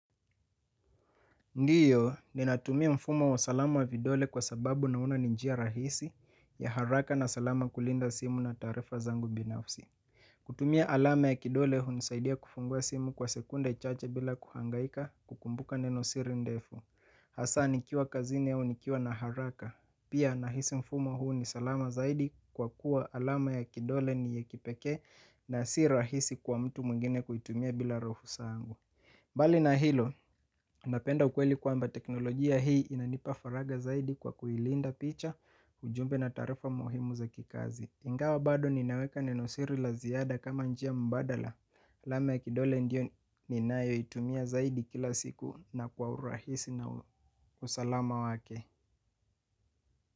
Ndiyo ninatumia mfumo wa salama wa vidole kwa sababu na ona ni njia rahisi ya haraka na salama kulinda simu na taarifa zangu binafsi. Kutumia alama ya kidole hunisaidia kufungua simu kwa sekunde chache bila kuhangaika kukumbuka neno siri ndefu. Hasa nikiwa kazini au nikiwa na haraka. Pia nahisi mfumo huu ni salama zaidi kwa kuwa alama ya kidole ni ya kipekee na si rahisi kwa mtu mwingine kuitumia bila ruhusa yangu. Mbali na hilo, napenda ukweli kwamba teknolojia hii inanipa faraga zaidi kwa kuilinda picha ujumbe na taarifa muhimu za kikazi. Ingawa bado ninaweka nenosiri la ziada kama njia mbadala. Alama ya kidole ndio ninayo itumia zaidi kila siku na kwa urahisi na usalama wake.